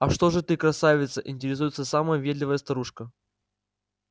а что же ты красавица интересуется самая въедливая старушка